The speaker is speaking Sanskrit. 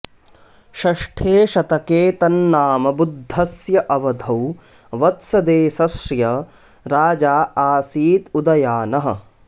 षष्ठे शतके तन्नाम बुद्धस्य अवधौ वत्सदेशस्य राजा आसीत् उदयानः